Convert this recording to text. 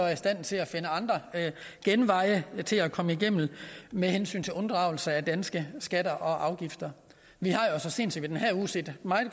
i stand til at finde andre genveje til at komme igennem med hensyn til unddragelse af danske skatter og afgifter vi har så sent som i den her uge set meget